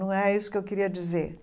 Não é isso que eu queria dizer.